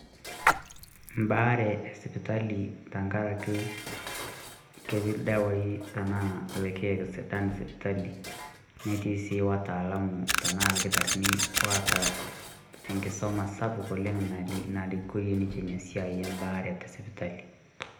Mbaare e sipitali tenkaraki ketii ildawai tenaa ilkek sidan sipitali netii sii wataalamu tenaa ilkitarrin waata enkisuma sapuk oleng narikorie ninche ina siai embaare tesipitali.